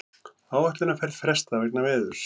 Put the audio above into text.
Áætlunarferð frestað vegna veðurs